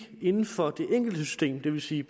inden for det enkelte system det vil sige